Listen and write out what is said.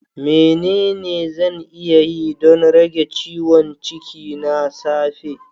Menene zan iya yi don rage ciwon ciki na safe?